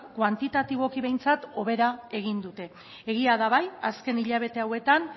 kuantitatiboki behintzat hobera egin dute egia da bai azken hilabete hauetan